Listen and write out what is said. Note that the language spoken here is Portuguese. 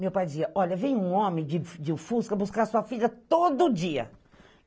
Meu pai dizia, olha, vem um homem de Fusca buscar sua filha todo dia.